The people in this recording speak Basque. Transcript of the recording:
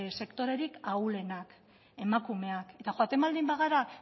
sektorerik ahulenak emakumeak eta joaten baldin bagara